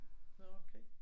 Nåh okay